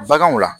Baganw la